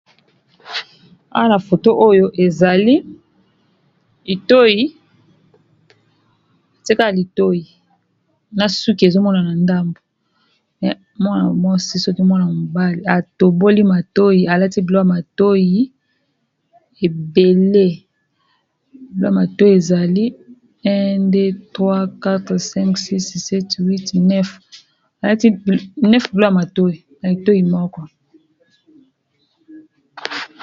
Awa na foto oyo ezali itoyi tie ka litoyi na suki ezomonana ndambu mwana mwasi soki mwana mobali atoboli matoyi alati biloko matoyi ebele biloko ya matoyi ezali un , deux , trois, quatre, cinq ,six, set, huit, neuf alati neuf biloko ya matoyi na litoyi moko.